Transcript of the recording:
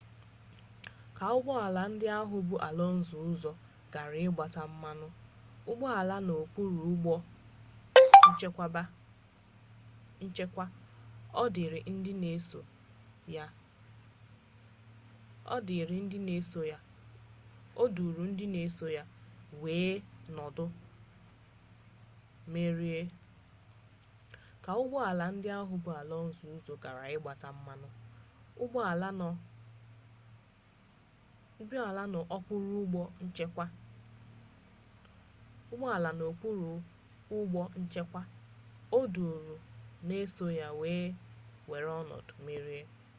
ka ụgbọ ala ndị ahụ bu alonso ụzọ gara ịgbata mmanụ ụgbọala n'okpuru ụgbọ nchekwa o duuru ndị n'eso ya wee were ọnọdụ mmeri